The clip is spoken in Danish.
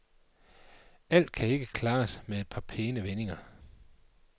Alt kan ikke klares med et par pæne vendinger.